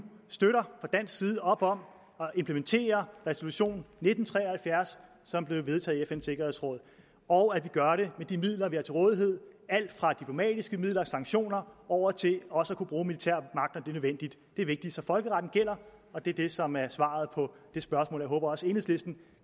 fra dansk side støtter op om at implementere resolution nitten tre og halvfjerds som blev vedtaget i fns sikkerhedsråd og at vi gør det med de midler vi har til rådighed alt fra diplomatiske midler og sanktioner over til også at kunne bruge militær magt nødvendigt det er vigtigt så folkeretten gælder og det er det som er svaret på det spørgsmål jeg håber også at enhedslisten